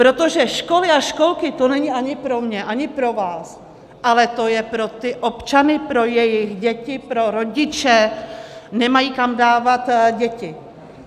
Protože školy a školky, to není ani pro mě, ani pro vás, ale to je pro ty občany, pro jejich děti, pro rodiče, nemají kam dávat děti.